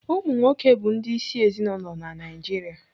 Ụmụnwoke bụ ndị ịsị ezinaụlọ na Naijiria.